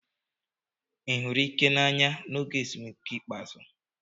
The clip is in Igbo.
Ị hụrụ Ike n'anya n'oge ezumike ikpeazụ?